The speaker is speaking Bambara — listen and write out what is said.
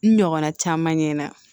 N ɲɔgɔnna caman ɲɛna